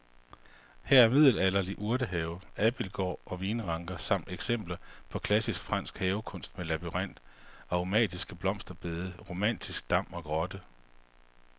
Her er middelalderlig urtehave, abildgård og vinranker samt eksempler på klassisk fransk havekunst med labyrint, aromatiske blomsterbede, romantisk dam og grotte.